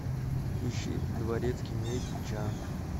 ищи дворецкий мей чан